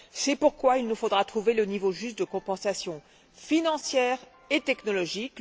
C'est pourquoi il nous faudra trouver le niveau juste de compensation financière et technologique.